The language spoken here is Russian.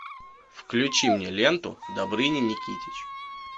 включи мне ленту добрыня никитич